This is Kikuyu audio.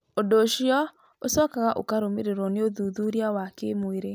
Ũndũ ũcio ũcokaga ũkarũmĩrĩrwo nĩ ũthuthuria wa kĩmwĩrĩ.